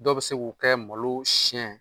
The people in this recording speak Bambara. Dɔw be se k'o kɛ malo siɲɛ